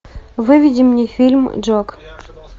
выведи мне фильм джок